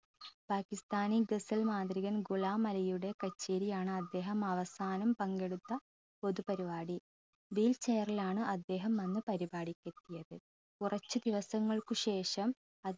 പാകിസ്താനി ഗസൽ മാന്ത്രികൻ ഗുലാം അലിയുടെ കച്ചേരിയാണ് അദ്ദേഹം അവസാനം പങ്കെടുത്ത പൊതു പാരിപാടി wheel chair ലാണ് അദ്ദേഹം അന്ന് പരിപാടിക്കെത്തിയത് കുറച്ചു ദിവസങ്ങൾക്ക് ശേഷം അ